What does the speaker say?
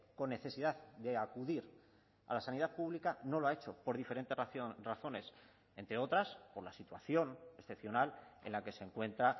con necesidad de acudir a la sanidad pública no lo ha hecho por diferentes razones entre otras por la situación excepcional en la que se encuentra